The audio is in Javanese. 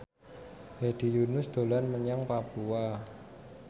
Hedi Yunus dolan menyang Papua